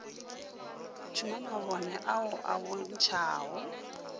tšhuma mabone ao a bontšhago